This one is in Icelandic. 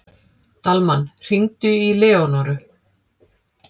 Dalmann, hringdu í Leónóru.